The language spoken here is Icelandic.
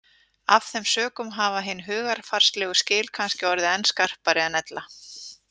Af þeim sökum hafa hin hugarfarslegu skil kannski orðið enn skarpari en ella.